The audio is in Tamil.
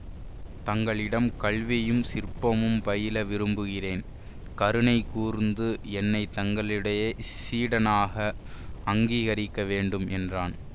தங்களிடம் கல்வியும் சிற்பமும் பயில விரும்புகிறேன் கருணை கூர்ந்து என்னை தங்களுடைய சீடனாக அங்கீகரிக்க வேண்டும் என்றான்